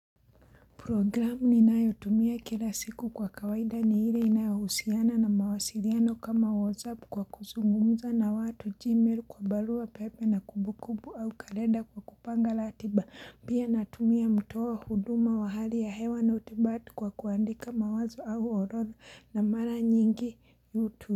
Programu ninayotumia kila siku kwa kawaida ni ile inayohusiana na mawasiliano kama whatsapp kwa kuzungumuza na watu gmail kwa barua pepe na kumbukumbu au kalenda kwa kupanga ratiba pia natumia mtoa huduma wa hali ya hewa na utibati kwa kuandika mawazo au orodha na mara nyingi youtube.